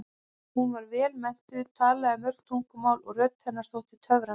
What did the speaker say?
Hún var vel menntuð, talaði mörg tungumál og rödd hennar þótti töfrandi.